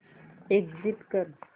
exit कर